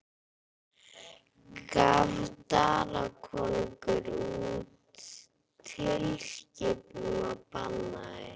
Gaf Danakonungur út tilskipun og bannaði